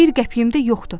Bir qəpiyim də yoxdur.